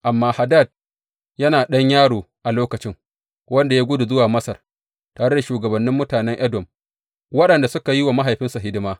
Amma Hadad yana ɗan yaro a lokaci, wanda ya gudu zuwa Masar tare da shugabannin mutanen Edom waɗanda suka yi wa mahaifinsa hidima.